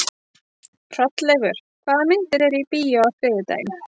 Hrolleifur, hvaða myndir eru í bíó á þriðjudaginn?